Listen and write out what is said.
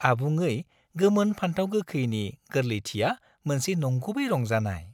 आबुङै गोमोन फानथाव गोखैनि गोरलैथिया मोनसे नंगुबै रंजानाय।